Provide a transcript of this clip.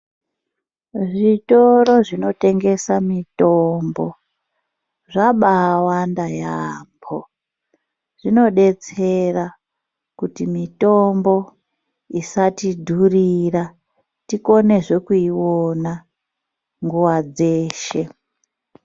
Zvitoro zvinotengesa mitombo zvabawanda yambo. Zvinodetsera kuti mitombo isatidhurira , tikonezve kuiona nguwa dzeshe.